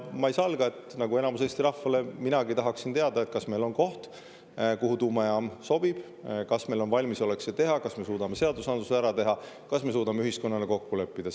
Ma ei salga, et nagu enamik Eesti rahvast, tahaksin minagi teada, kas meil on koht, kuhu tuumajaam sobib, kas meil on valmisolek see teha, kas me suudame seadusandluse ära teha, kas me suudame ühiskonnana kokku leppida.